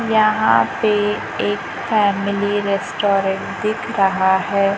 यहां पे एक फैमिली रेस्टोरेंट दिख रहा है।